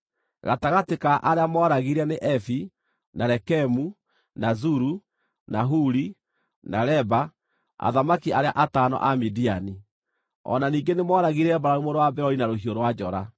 Gatagatĩ ka arĩa mooragire nĩ Evi, na Rekemu, na Zuru, na Huri, na Reba, athamaki arĩa atano a Midiani. O na ningĩ nĩmooragire Balamu mũrũ wa Beori na rũhiũ rwa njora.